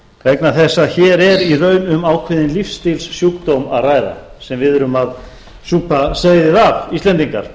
vegna þess að hér er í raun um ákveðinn lífsstílssjúkdóm að ræða sem við erum að súpa seyðið af íslendingar